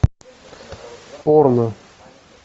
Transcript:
порно